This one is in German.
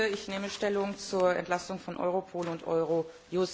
Ich nehme Stellung zur Entlastung von Europol und Eurojust.